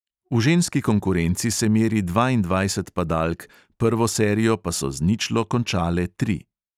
V ženski konkurenci se meri dvaindvajset padalk, prvo serijo pa so z ničlo končale tri.